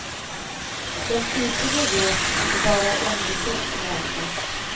Den flitige vet att det bara är envishet som räknas.